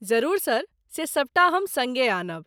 जरूर सर, से सबटा हम सङ्गे आनब।